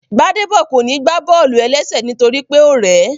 Gbádébọ̀ kò ní gbá bọ́ọ̀lù-ẹlẹ́sẹ̀ nítorí pé ó rẹ̀ẹ́